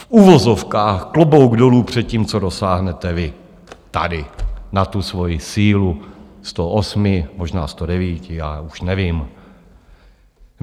V uvozovkách klobouk dolů před tím, co dosáhnete vy tady na tu svoji sílu 108, možná 109, a už nevím.